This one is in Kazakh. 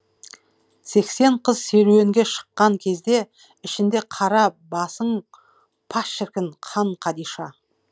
сексен қыз серуенге шыққан кезде ішінде қара басың па шіркін хан қадиша